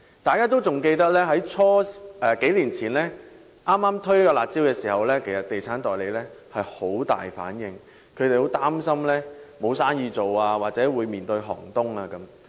大家記得在數年前首次推出"辣招"時，地產代理的反應很大，他們擔心會影響生意或令行業步入寒冬。